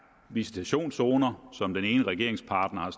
visitationszoner som den ene regeringspartner har